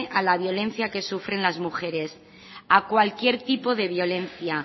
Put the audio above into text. a la violencia que sufren las mujeres a cualquier tipo de violencia